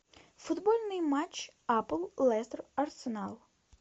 футбольный матч апл лестер арсенал